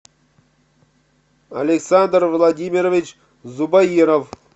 александр владимирович зубаиров